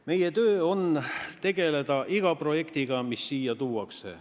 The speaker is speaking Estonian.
Meie töö on tegeleda iga projektiga, mis siia tuuakse.